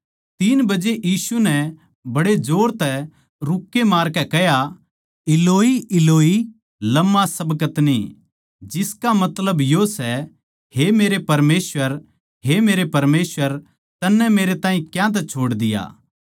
तीन बजे यीशु नै बड्डे जोर तै रूक्के मारकै कह्या इलोई इलोई लमा शबक्तनी जिसका मतलब यो सै हे मेरे परमेसवर हे मेरे परमेसवर तन्नै मेरै ताहीं क्यांतै छोड़ दिया